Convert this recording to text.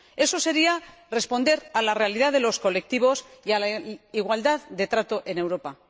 eso sería responder a la realidad de los colectivos y a la igualdad de trato en Europa.